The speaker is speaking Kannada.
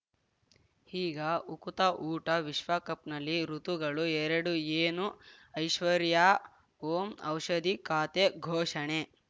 ಈಗ ಉಕುತ ಊಟ ವಿಶ್ವಕಪ್‌ನಲ್ಲಿ ಋತುಗಳು ಎರಡು ಏನು ಐಶ್ವರ್ಯಾ ಓಂ ಔಷಧಿ ಖಾತೆ ಘೋಷಣೆ